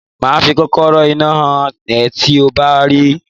Màá fi kòkòrò-iná hàn ẹ́ tí mo bá ti rí.